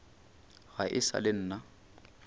ga e sa le nna